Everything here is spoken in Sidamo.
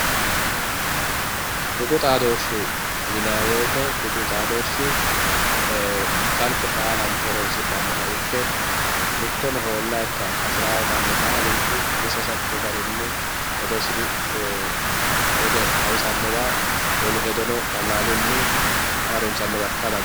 Tuqu xaadoshe yinanni woyte tuqu xaadoshi kalqe baallanti horonsidhanoha ikke mittono ho'lanikkiha hasiri manni baalunku umisi hasatto garinni hedosi xawisanowa wolu hedono qalaluni harunsanowa ikka dandaano.